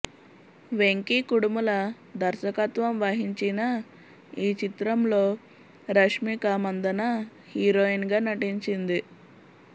వెంకీ కుడుముల దర్శకత్వం వహించిన ఈచిత్రంలో రష్మిక మందన హీరోయిన్ గా నటించింది